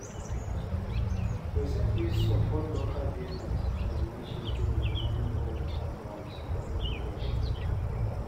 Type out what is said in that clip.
Persin fit support local business and initiative with money or with advice or mentorship